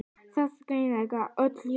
Það var grenjað öll jólin.